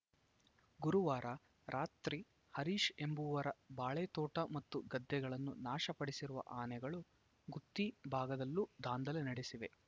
ಗುರುವಾರ ರಾತ್ರಿ ಹರೀಶ್‌ ಎಂಬವರ ಬಾಳೆತೋಟ ಮತ್ತು ಗದ್ದೆಗಳನ್ನು ನಾಶಪಡಿಸಿರುವ ಆನೆಗಳು ಗುತ್ತಿ ಭಾಗದಲ್ಲೂ ದಾಂಧಲೆ ನಡೆಸಿವೆ